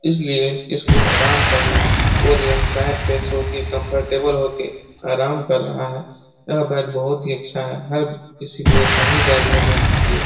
इसलिए इसको आराम चाहिए और यह बैड पे सोके कम्फर्टेबल होके आराम कर रहा है। यह बैड बहुत ही अच्छा है। हर किसी को ऐसा ही बैड लेना चाहिए।